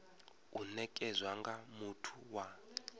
u nekedzwa nga muthu wa